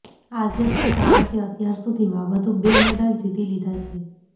આજે પણ ભારતે અત્યાર સુધીમાં વધુ બે મેડલ જીતી લીધા છે